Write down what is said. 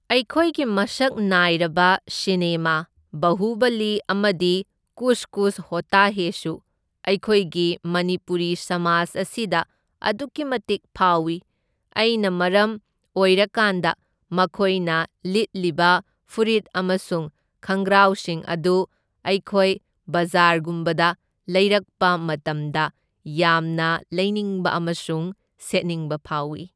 ꯑꯩꯈꯣꯏꯒꯤ ꯃꯁꯛ ꯅꯥꯏꯔꯕ ꯁꯤꯅꯦꯃꯥ ꯕꯍꯨꯕꯂꯤ ꯑꯃꯗꯤ ꯀꯨꯁ ꯀꯨꯁ ꯍꯣꯇꯥ ꯍꯦꯁꯨ ꯑꯩꯈꯣꯏꯒꯤ ꯃꯅꯤꯄꯨꯔꯤ ꯁꯃꯥꯖ ꯑꯁꯤꯗ ꯑꯗꯨꯛꯀꯤ ꯃꯇꯤꯛ ꯐꯥꯎꯏ, ꯑꯩꯅ ꯃꯔꯝ ꯑꯣꯏꯔꯀꯥꯟꯗ ꯃꯈꯣꯏꯅ ꯂꯤꯠꯂꯤꯕ ꯐꯨꯔꯤꯠ ꯑꯃꯁꯨꯡ ꯈꯪꯒ꯭ꯔꯥꯎꯁꯤꯡ ꯑꯗꯨ ꯑꯩꯈꯣꯏ ꯕꯖꯥꯔꯒꯨꯝꯕꯗ ꯂꯩꯔꯛꯄ ꯃꯇꯝꯗ ꯌꯥꯝꯅ ꯂꯩꯅꯤꯡꯕ ꯑꯃꯁꯨꯡ ꯁꯦꯠꯅꯤꯡꯕ ꯐꯥꯎꯢ꯫